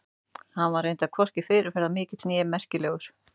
Hann var reyndar hvorki fyrirferðarmikill né merkilegur.